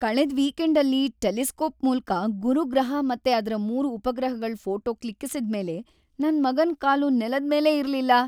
ಕಳೆದ್ ವೀಕೆಂಡಲ್ಲಿ ಟೆಲಿಸ್ಕೋಪ್ ಮೂಲಕ ಗುರು ಗ್ರಹ ಮತ್ತೆ ಅದ್ರ ಮೂರು ಉಪಗ್ರಹಗಳ್ ಫೋಟೋ ಕ್ಲಿಕ್ಕಿಸಿದ್ಮೇಲೆ ನನ್‌ ಮಗನ್ ಕಾಲು ನೆಲದ್‌ ಮೇಲೇ ಇರ್ಲಿಲ್ಲ.